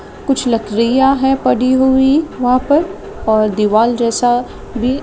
कुछ लयटरिया पडी हुई वहा पर और दीवाल जैसा भी--